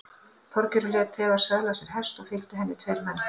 Þorgerður lét þegar söðla sér hest og fylgdu henni tveir menn.